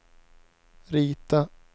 rita